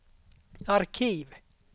arkiv